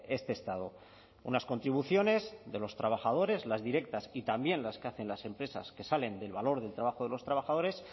este estado unas contribuciones de los trabajadores las directas y también las que hacen las empresas que salen del valor del trabajo de los trabajadores